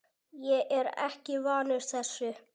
Ég er ekki vanur þessu.